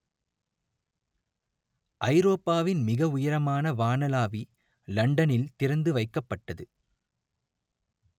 ஐரோப்பாவின் மிக உயரமான வானளாவி லண்டனில் திறந்து வைக்கப்பட்டது